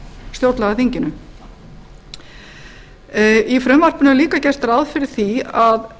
stjórnlagaþinginu í frumvarpinu er líka gert ráð fyrir því að